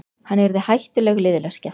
Hann yrði hættuleg liðleskja.